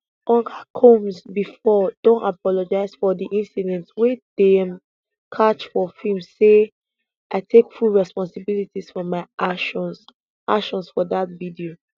oga combs bifor don apologise for di incident wey dem catch for film say i take full responsibility for my actions actions for dat video